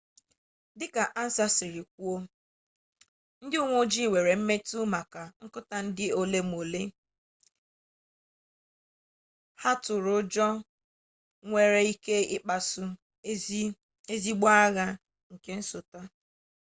dika ansa si kwuo ndi uwe-ojii nwere mmetu maka nkuta di-elu ole na ole ha turu-ujo nwere-ike ikpasu ezigbo agha nke nsota